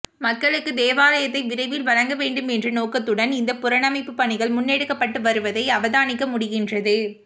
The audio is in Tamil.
மக்களுக்கு தேவாலயத்தை விரைவில் வழங்க வேண்டும் என்ற நோக்கத்துடன் இந்த புனரமைப்பு பணிகள் முன்னெடுக்கப்பட்டு வருவதை அவதானிக்க முடிகின்றது